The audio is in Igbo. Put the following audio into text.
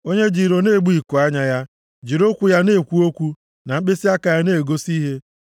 onye ji iro na-egbu ikuanya ya, jiri ụkwụ ya na-ekwu okwu na mkpịsịaka ya na-egosi ihe.